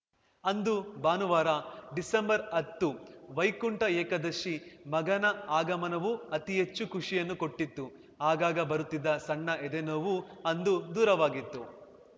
ಅಂದು ಭಾನುವಾರ ಡಿಸೆಂಬರ್‌ ಹತ್ತು ವೈಕುಂಠ ಏಕಾದಶಿ ಮಗನ ಆಗಮನವು ಅತಿ ಹೆಚ್ಚು ಖುಷಿಯನ್ನು ಕೊಟ್ಟಿತ್ತು ಆಗಾಗ ಬರುತ್ತಿದ್ದ ಸಣ್ಣ ಎದೆ ನೋವೂ ಅಂದು ದೂರವಾಗಿತ್ತು